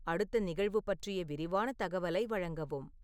அடுத்த நிகழ்வு பற்றிய விரிவான தகவலை வழங்கவும்